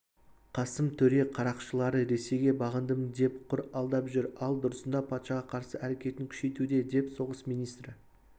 қасым төре қарақшылары ресейге бағындым деп құр алдап жүр ал дұрысында патшаға қарсы әрекетін күшейтуде деп соғыс министрі